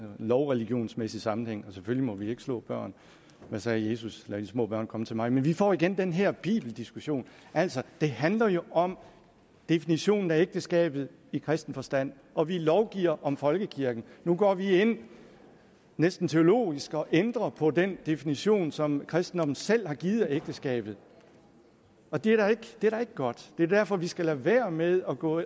lovreligionsmæssig sammenhæng og selvfølgelig må vi ikke slå børn hvad sagde jesus lad de små børn komme til mig men vi får igen den her bibeldiskussion altså det handler jo om definitionen af ægteskabet i kristen forstand og vi lovgiver om folkekirken nu går vi ind næsten teologisk og ændrer på den definition som kristendommen selv har givet af ægteskabet og det er da ikke godt det er derfor vi skal lade være med at gå